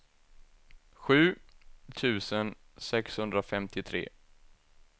sju tusen sexhundrafemtiotre